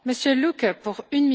Frau Präsidentin!